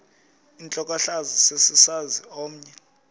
intlokohlaza sesisaz omny